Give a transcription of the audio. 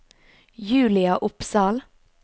Julia Opsahl